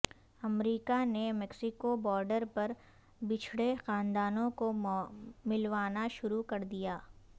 امریکہ نے Mexico border پر بچھڑے خاندانوں کو ملوانا شروع کر دیا